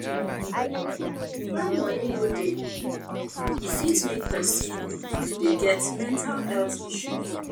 when money no dey e fit make person dey get mental health issue